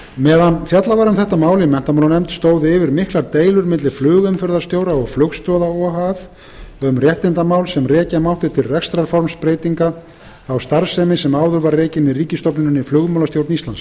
meðan fjallað var um þetta mál í menntamálanefnd stóðu yfir miklar deilur milli flugumferðarstjóra og flugstoða o h f um réttindamál sem rekja mátti til rekstrarformsbreytinga á starfsemi sem áður var rekin í ríkisstofnuninni í flugmálastjórn íslands